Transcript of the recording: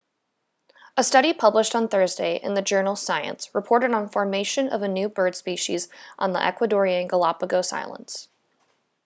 a study published on thursday in the journal science reported on formation of a new bird species on the ecuadorean galápagos islands